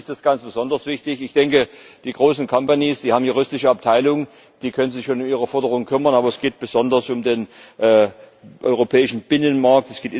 Für die ist es ganz besonders wichtig. Ich denke, die großen Unternehmen, die haben juristische Abteilungen, die können sich um ihre Forderung kümmern, aber es geht besonders um den europäischen Binnenmarkt.